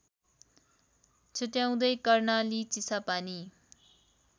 छुट्टाउँदै Karnali Chisapani